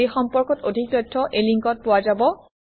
এই সম্পৰ্কত অধিক তথ্য এই লিংকত পোৱা যাব